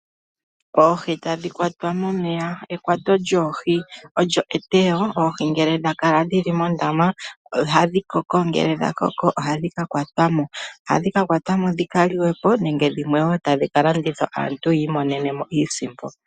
Oohi tadhi kwatwa momeya. Ekwato lyoohi olyo eteyo. Oohi ngele dha kala dhili mondama ohadhi koko ngele dha koko ohadhi ka kwatwa mo dhi ka liwe po nenge dhimwe wo dhi ka landithwe po kaantu yiimonene mo iisimpo.